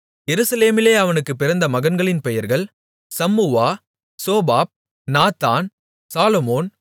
எருசலேமிலே அவனுக்குப் பிறந்த மகன்களின் பெயர்கள் சம்முவா சோபாப் நாத்தான் சாலொமோன்